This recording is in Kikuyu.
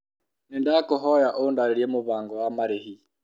Nĩ ndakũhoya ũndarĩrie mũbango wa marĩhi.